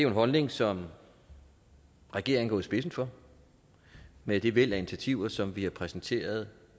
en holdning som regeringen står i spidsen for med det væld af initiativer som vi har præsenteret